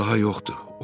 Sal daha yoxdur.